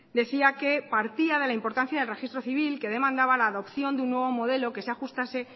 decía que partía de la importancia del registro civil que demandaba la adopción de un nuevo modelo que se ajustase